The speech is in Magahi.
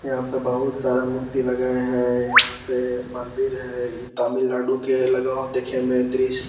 यहाँ पे बहुत सारा मूर्ति लगाया है | यहाँ पे मंदिर है | ई तमिलनाडु के लग हो देखे में दृश्य ।